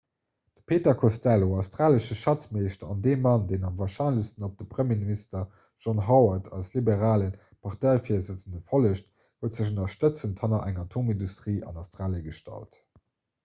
de peter costello australesche schatzmeeschter an dee mann deen am warscheinlechsten op de premierminister john howard als liberale parteivirsëtzende follegt huet sech ënnerstëtzend hanner eng atomindustrie an australie gestallt